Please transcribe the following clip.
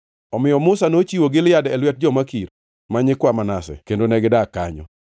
Omiyo Musa nochiwo Gilead e lwet jo-Makir, ma nyikwa Manase, kendo negidak kanyo.